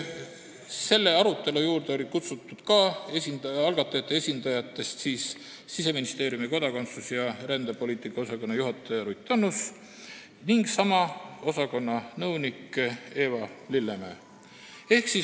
Selle arutelu juurde olid algatajate esindajatest kutsutud Siseministeeriumi kodakondsus- ja rändepoliitika osakonna juhataja Ruth Annus ning sama osakonna nõunik Eva Lillemäe.